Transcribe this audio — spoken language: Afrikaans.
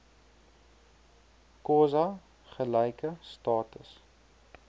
xhosa gelyke status